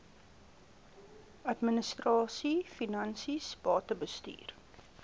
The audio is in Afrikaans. administrasie finansies batebestuur